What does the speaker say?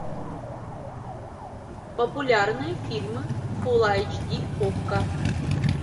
популярные фильмы фулл айч ди окко